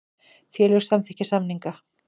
Félög samþykkja samninga